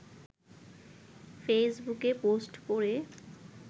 ফেইসবুকে post করে